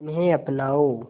इन्हें अपनाओ